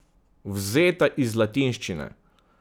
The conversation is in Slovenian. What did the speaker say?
Vzeta iz latinščine.